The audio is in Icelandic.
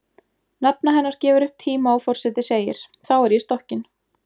Nafna hennar gefur upp tíma og forseti segir: Þá er ég stokkin